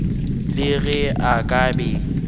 le ge a ka be